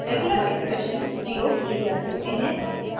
regular expressions प्रयोग किये जा सकते हैं